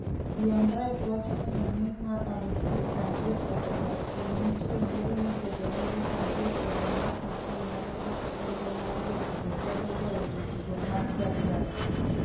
Ian Wright wacho ni rang'iny mar Alexis Sanchez 'osedok piny' Nitie luoro ni keto lwedo Sanchez e dwe mar achiel nyalo ketho chenro mar jotugo godo goyo jotugo mag Guardiola.